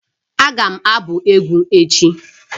Agam abu egwu echi